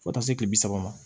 Fo taa se kile bi saba ma